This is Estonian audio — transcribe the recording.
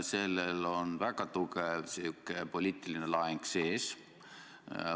Sellel on väga tugev poliitiline laeng sees.